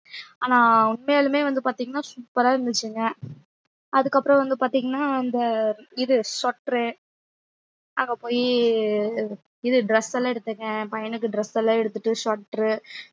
ஆனா உண்மையாலுமே வந்து பாத்தீங்கன்னா super ஆ இருந்துச்சுங்க அதுக்கப்புறம் வந்து பாத்தீங்கன்னா அந்த இது sweater அங்க போயி இது dress எல்லாம் எடுத்தங்க என் பையனுக்கு dress எல்லாம் எடுத்துட்டு sweater